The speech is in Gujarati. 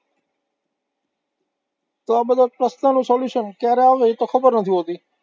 તો આ બધા પ્રશ્નનું solution ક્યારે આવે એ તો ખબર નથી હોતી,